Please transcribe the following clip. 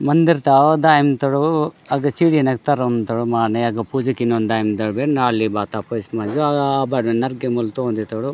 मंदिर तव दायम तढो अभी चिड़ियान तरोम तारोम माने अगे पूजी किनो दायम दवे नाली बाता पास अज बराने गेमबर टोन्डे तोढ़ो।